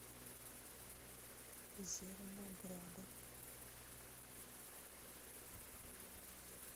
зернограда